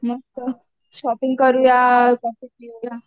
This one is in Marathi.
मस्त शॉपिंग करूया कॉफी पिऊया.